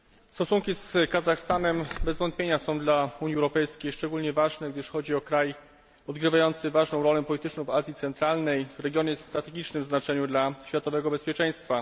Stosunki z Kazachstanem są bez wątpienia dla Unii Europejskiej szczególnie ważne, gdyż chodzi o kraj odgrywający ważną rolę polityczną w Azji Centralnej, w regionie o strategicznym znaczeniu dla światowego bezpieczeństwa.